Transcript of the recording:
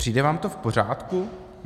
Přijde vám to v pořádku?